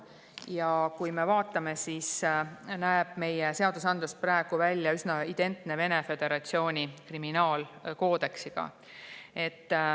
Ja kui me vaatame, siis näeme, et meie seadusandlus näeb praegu välja üsna identne Vene Föderatsiooni kriminaalkoodeksiga.